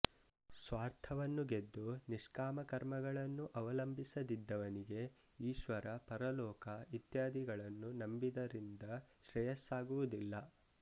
ಸ್ವಾರ್ಥವನ್ನು ಗೆದ್ದು ನಿಷ್ಕಾಮ ಕರ್ಮಗಳನ್ನು ಅವಲಂಬಿಸದಿದ್ದವನಿಗೆ ಈಶ್ವರ ಪರಲೋಕ ಇತ್ಯಾದಿಗಳನ್ನು ನಂಬಿದರಿಂದ ಶ್ರೇಯಸ್ಸಾಗುವುದಿಲ್ಲ